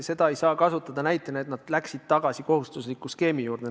Seda ei saa kasutada näitena, et nad läksid tagasi kohustusliku skeemi juurde.